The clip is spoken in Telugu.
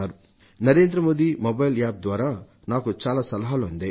నరేంద్రమోది మొబైల్ App ద్వారా నాకు చాలా సలహాలు అందాయి